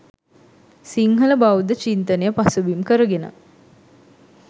සිංහල බෞද්ධ චින්තනය පසුබිම් කරගෙන